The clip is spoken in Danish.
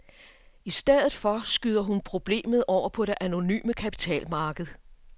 I stedet for skyder hun problemet over på det anonyme kapitalmarked.